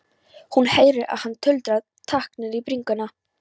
Hún heyrir að hann tuldrar takk niður í bringuna.